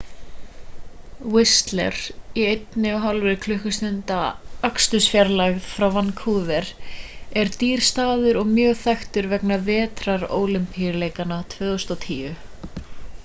whistler í 1,5 klukkustunda akstursfjarlægð frá vancouver er dýr staður og mjög þekktur vegna vetrarólympíuleikanna 2010